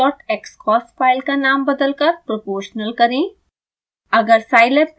steptest dot xcos file का नाम बदलकर proportional करें